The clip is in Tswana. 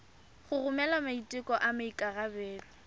go romela maiteko a maikarebelo